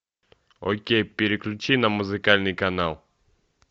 окей переключи на музыкальный канал